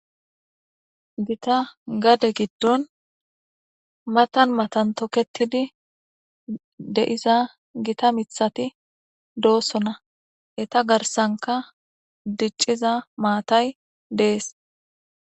Gita gade giddon matan matan tokettidi de7iza gita miththati de7osona eeta garsanika dicciza maatay dees